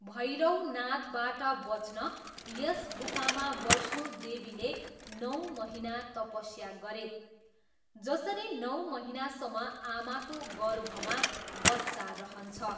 भैरवनाथबाट बच्न, यस गुफामा वैष्णोदेवीले नौ महिना तपस्या गरे, जसरी नौ महिनासम्म आमाको गर्भमा बच्चा रहन्छ।